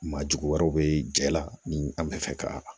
Maajugu wɛrɛ bɛ cɛ la ni an bɛ fɛ ka